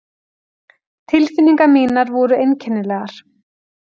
Tilfinningar mínar voru einkennilegar.